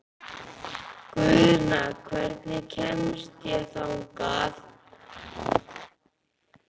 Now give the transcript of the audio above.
Guðna, hvernig kemst ég þangað?